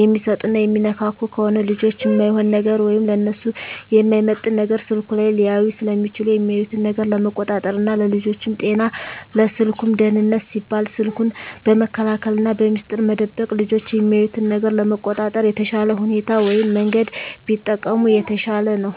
የሚሰጡና የሚነካኩ ከሆነ ልጆች እማይሆን ነገር ወይም ለነሱ የማይመጥን ነገር ስልኩ ላይ ሊያዩ ስለሚችሉ የሚያዩትን ነገር ለመቆጣጠር ና ለልጆቹም ጤና ለስልኩም ደህንነት ሲባል ስልኩን በመከልከልና በሚስጥር መደበቅ ልጆች የሚያዩትን ነገር ለመቆጣጠር የተሻለ ሁኔታ ወይም መንገድ ቢጠቀሙ የተሻለ ነው።